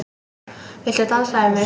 Viltu dansa við mig?